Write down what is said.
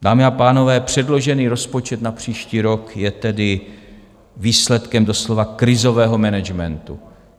Dámy a pánové, předložený rozpočet na příští rok je tedy výsledkem doslova krizového managementu.